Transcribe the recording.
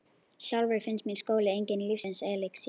Sjálfri finnst mér skóli enginn lífsins elexír.